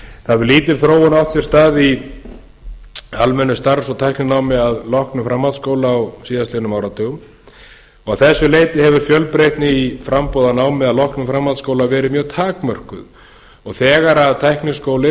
hefur lítil þróun átt sér stað í almennu starfs og tækninámi að loknum framhaldsskóla á síðastliðnum áratugum að þessu leyti hefur fjölbreytni í framboði á námi að loknum framhaldsskóla verið mjög takmörkuð þegar